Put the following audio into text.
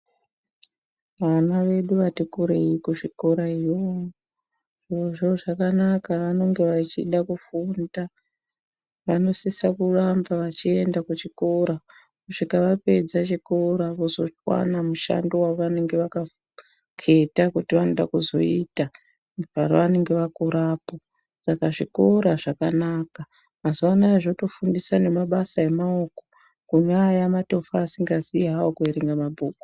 Vana vedu vati kurei kuzviikora yo zviro zvo zvakanaka vanenge vachida kufunda vanosisa kuramba vachienda kuchikora kusvika vapedza chikora vozwana mushando wavanenge vaka keta kuti vanode kuzoita pavanenge vakurapo, mazuwa anaya zvotofundisa nemasa emaoko kune aya matofo asingaziyi kuerenga mabhuku.